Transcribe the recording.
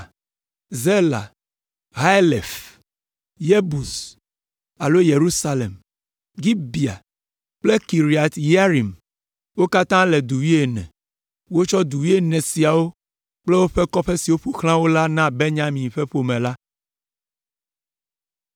Zela, Haelef, Yebus (alo Yerusalem), Gibea kple Kiriat Yearim. Wo katã le du wuiene. Wotsɔ du wuiene siawo kple kɔƒe siwo katã ƒo xlã wo la na Benyamin ƒe ƒome la.